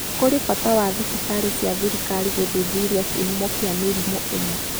Kũrĩ na bata wa thibitarĩ cia thirikari gũthuthuria kĩhumo kĩa mĩrimũ ĩno